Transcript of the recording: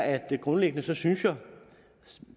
er at jeg grundlæggende synes